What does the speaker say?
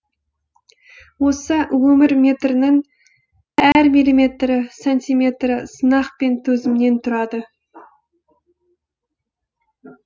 осы өмір метірінің әр миллиметрі сантиметрі сынақ пен төзімнен тұрады